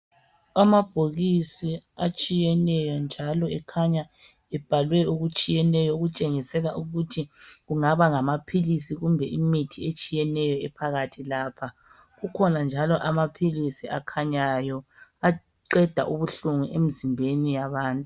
Amabhokisi atshiyeneyo njalo ekhanya ebhalwe okutshiyeneyo okutshengisela ukuthi kungaba ngamaphilisi kumbe imithi etshiyeneyo ephakathi lapha kukhona njalo amaphilisi akhanyayo aqeda ubuhlungu emizimbeni yabantu.